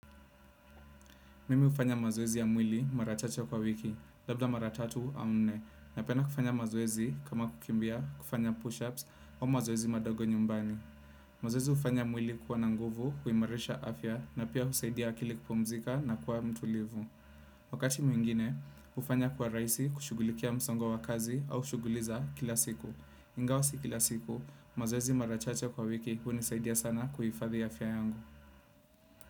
Mimi hufanya mazoezi ya mwili mara chache kwa wiki, labda mara tatu au nne. Napenda kufanya mazoezi kama kukimbia, kufanya push-ups au mazoezi madogo nyumbani. Mazoezi hufanya mwili kuwa na nguvu, kuimarisha afya na pia husaidia akili kupumzika na kuwa mtulivu. Wakati mwingine, hufanya kwa rahisi kushughulikia msongo wa kazi au shughuli za kila siku. Ingawa si kila siku, mazoezi mara chache kwa wiki hunisaidia sana kuhifadhi afya yangu.